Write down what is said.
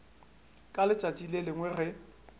ka letšatši le lengwe ge